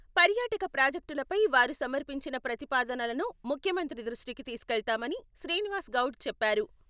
పర్యాటక ప్రాజెక్టులపై వారు సమర్పించిన ప్రతిపాదనలను ముఖ్యమంత్రి దృష్టికి తీసుకెళ్తామని శ్రీనివాస్ గౌడ్ చెప్పారు.